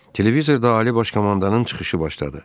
Televizorda Ali Baş Komandanın çıxışı başladı.